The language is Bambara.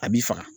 A b'i faga